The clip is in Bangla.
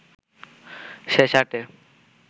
শেষ আটে